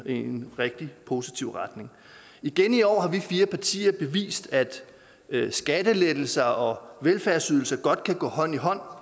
en rigtig positiv retning igen i år har vi fire partier bevist at skattelettelser og velfærdsydelser godt kan gå hånd i hånd